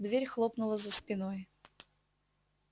дверь хлопнула за спиной